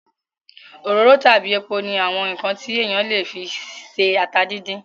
Òróró tàbí epo ní àwọn ǹkan tí èèyàn le fi se ata díndín